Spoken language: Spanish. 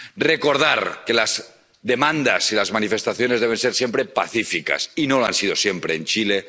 recordar que las demandas y las manifestaciones deben ser siempre pacíficas, y no lo han sido siempre en Chile